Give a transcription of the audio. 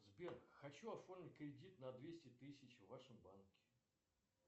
сбер хочу оформить кредит на двести тысяч в вашем банке